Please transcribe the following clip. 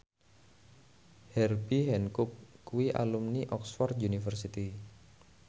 Herbie Hancock kuwi alumni Oxford university